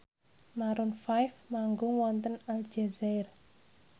Maroon 5 manggung wonten Aljazair